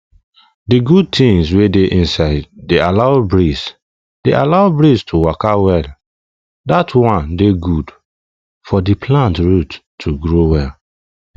the good things wey dey inside dey allow breeze allow breeze to waka well that one dey good for the plant root to grow well